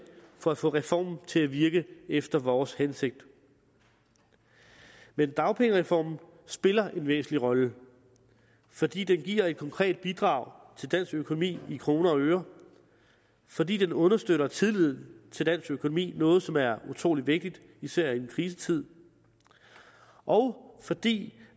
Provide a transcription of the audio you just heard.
for at få reformen til at virke efter vores hensigt men dagpengereformen spiller en væsentlig rolle fordi den giver et konkret bidrag til dansk økonomi i kroner og øre fordi den understøtter tilliden til dansk økonomi noget som er utrolig vigtigt især i en krisetid og fordi